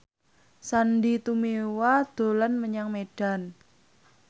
Sandy Tumiwa dolan menyang Medan